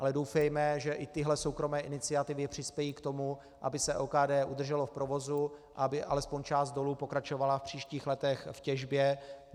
Ale doufejme, že i tyhle soukromé iniciativy přispějí k tomu, aby se OKD udrželo v provozu, aby alespoň část dolů pokračovala v příštích letech v těžbě.